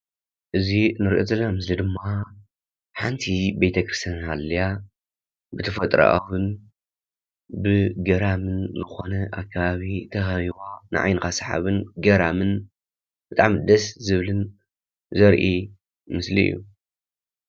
እዚ ንሪኦ ዘለና ምስሊ ድማ ሓንቲ ቤተ ክርስቲያን ሃልያ ብተፈጥሮኣ ይኹን ብገራሚ ዝኾነ ኣከባቢ ተኸቢባ ንዓይንኻ ሰሓብን ገራምን ብጣዕሚ ደስ ዝብልን ዘርኢ ምስሊ እዩ፡፡